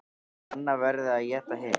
Að annað verði að éta hitt.